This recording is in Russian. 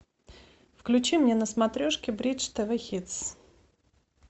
включи мне на смотрешке бридж тв хитс